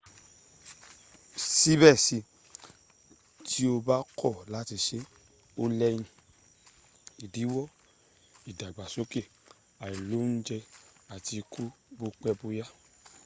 sibe si ti o ba ko lati se o leyin idiwo idagbasoke ailounje ati iku bopeboya